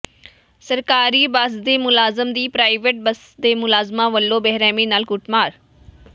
ਸਰਕਾਰੀ ਬੱਸ ਦੇ ਮੁਲਾਜ਼ਮ ਦੀ ਪ੍ਰਾਈਵੇਟ ਬੱਸ ਦੇ ਮੁਲਾਜ਼ਮਾਂ ਵਲੋਂ ਬੇਰਹਿਮੀ ਨਾਲ ਕੁੱਟਮਾਰ